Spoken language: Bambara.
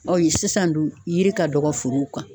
Ɔyi sisan dun yiri ka dɔgɔ forow kan